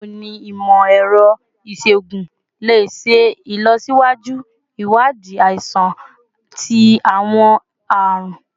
Bawo ni imọ-ẹrọ iṣoogun le ṣe ilọsiwaju iwadii aisan ti awọn arun?